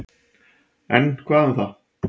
En, hvað um það.